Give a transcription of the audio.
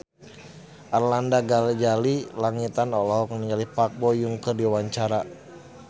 Arlanda Ghazali Langitan olohok ningali Park Bo Yung keur diwawancara